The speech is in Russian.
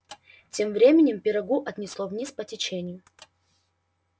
тем временем пирогу отнесло вниз по течению